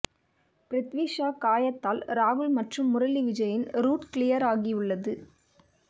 பிரித்வி ஷா காயத்தால் ராகுல் மற்றும் முரளி விஜயின் ரூட் கிளியர் ஆகியுள்ளது